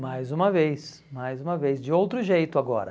Mais uma vez, mais uma vez, de outro jeito agora.